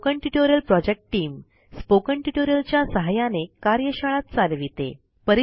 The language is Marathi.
spoken tutorial project team spoken tutorial च्या सहाय्याने कार्यशाळा चालविते